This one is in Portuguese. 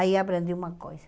Aí aprendi uma coisa.